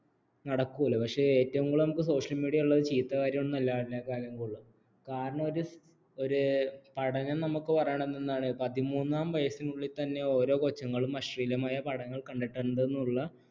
നടക്കൂല പക്ഷേ ഏറ്റവും കൂടുതൽ നമുക്ക് social media ഉള്ളത് ചീത്ത കാര്യം വളരെ ചീത്ത കാരണം ഒരു ഒരു പഠനം നമുക്ക് പറയണേ എന്താണ് പതിമൂന്നാം വയസ്സിനുള്ളിൽ തന്നെ ഓരോ കൊച്ചുങ്ങളും അശ്ലീലമായ പടങ്ങൾ കണ്ടിട്ടുണ്ടെന്നുള്ള